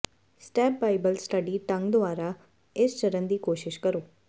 step Bible study ਢੰਗ ਦੁਆਰਾ ਇਸ ਚਰਣ ਦੀ ਕੋਸ਼ਿਸ਼ ਕਰੋ